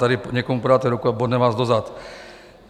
Tady někomu podáte ruku a bodne vás do zad.